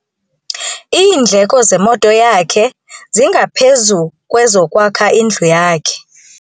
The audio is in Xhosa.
Iindleko zemoto yakhe zingaphezu kwezokwakha indlu yakhe.